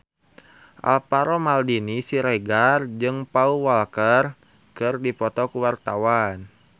Alvaro Maldini Siregar jeung Paul Walker keur dipoto ku wartawan